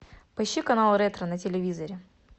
поищи канал ретро на телевизоре